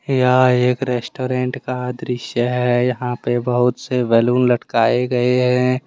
यह एक रेस्टोरेंट का दृश्य है। यहां पे बहुत से बैलून लटकाए गए हैं।